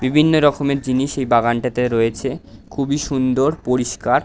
বিভিন্ন রকমের জিনিস এই বাগানটাতে রয়েছে। খুবই সুন্দর পরিষ্কার।